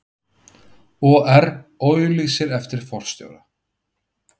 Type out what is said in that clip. OR auglýsir eftir forstjóra